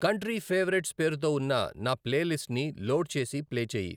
country favourites పేరుతో ఉన్న నా ప్లేలిస్ట్ ని లోడ్ చేసి ప్లే చేయి